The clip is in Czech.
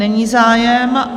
Není zájem.